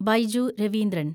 Baiju Raveendran